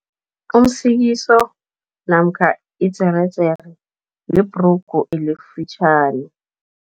Umsikiso namkha idzeredzere libhrugu elifitjhani.